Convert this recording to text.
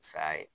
Saya ye